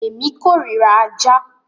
Èmi kórira ajá.